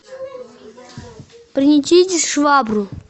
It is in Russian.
принесите швабру